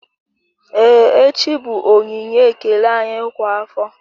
Ee echi bụ onyinye ekele anyị kwa afọ